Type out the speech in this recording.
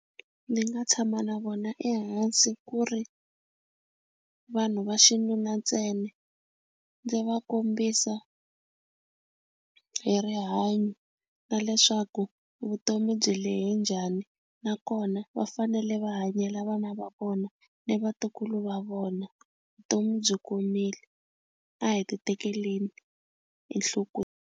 Ndzi nga tshama na vona ehansi ku ri vanhu va xinuna ntsena ndzi va kombisa hi rihanyo na leswaku vutomi byi lehe njhani nakona va fanele va hanyela vana va vona ni vatukulu va vona vutomi byi komile a hi ti tekeleni enhlokweni.